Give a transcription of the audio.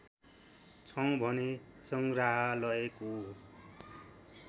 छौं भने सङ्ग्रहालयको